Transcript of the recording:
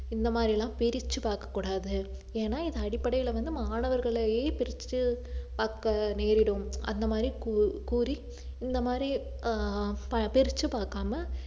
இந்த மாதிரி எல்லாம் பிரிச்சு பார்க்கக்கூடாது ஏன்னா இது அடிப்படையில வந்து மாணவர்களையே பிரிச்சி பார்க்க நேரிடும் அந்த மாதிரி கூ~ கூறி இந்த மாதிரி ஆஹ் பிரிச்சு பார்க்காம